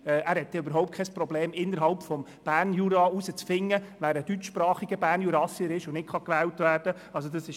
Er hat überhaupt kein Problem, innerhalb des Berner Juras herauszufinden, wer ein deutschsprachiger Bernjurassier ist und deswegen nicht gewählt werden kann.